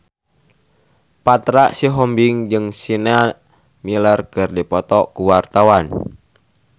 Petra Sihombing jeung Sienna Miller keur dipoto ku wartawan